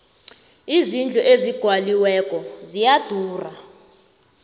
izindlu ezigwaliweko ziyadura